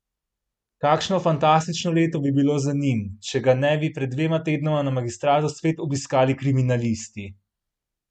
Kakšno fantastično leto bi bilo za njim, če ga ne bi pred dvema tednoma na magistratu spet obiskali kriminalisti!